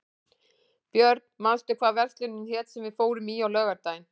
Björn, manstu hvað verslunin hét sem við fórum í á laugardaginn?